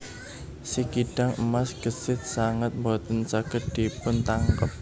Si kidang emas gesit sanget boten saged dipuntangkep